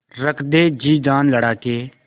रख दे जी जान लड़ा के